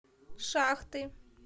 шахты